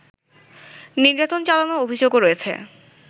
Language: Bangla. নির্যাতন চালানোর অভিযোগও রয়েছে